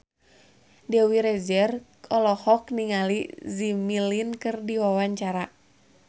Dewi Rezer olohok ningali Jimmy Lin keur diwawancara